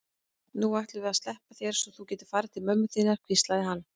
Nú ætlum við að sleppa þér svo þú getir farið til mömmu þinnar, hvíslaði hann.